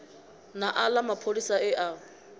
na aḽa mapholisa e a